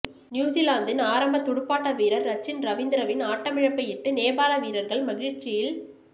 நியூஸிலாந்தின் ஆரம்ப துடுப்பாட்ட வீரர் ரச்சின் ரவீந்திரவின் ஆட்டமிழப்பையிட்டு நேபாள வீரர்கள் மகிழ்ச்சியில்